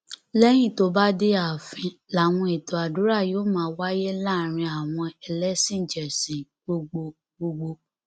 lẹyìn tó bá dé ààfin làwọn ètò àdúrà yóò máa wáyé láàrin àwọn ẹlẹsìnjẹsìn gbogbo gbogbo